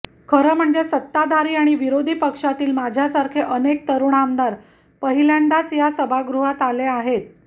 खरं म्हणजे सत्ताधारी आणि विरोधी पक्षातील माझ्यासारखे अनेक तरुण आमदार पहिल्यांदाच या सभागृहात आले आहेत